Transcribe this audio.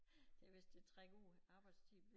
Det vist til at trække ud arbejdstiden